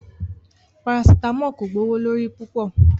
Paracetamol ko gbowolori pupọ